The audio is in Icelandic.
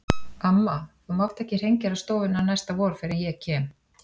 Amma, þú mátt ekki hreingera stofurnar næsta vor fyrr en ég kem.